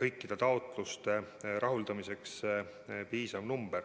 kõikide taotluste rahuldamiseks piisav summa.